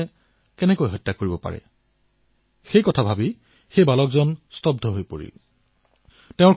কোনোবা ইমান কিদৰে নিৰ্দয়ী হব পাৰে সেই ভাবি তেওঁ স্তব্ধ হৈ গৈছিল